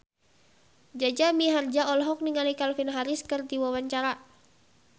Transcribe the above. Jaja Mihardja olohok ningali Calvin Harris keur diwawancara